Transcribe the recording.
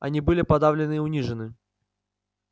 они были подавлены и унижены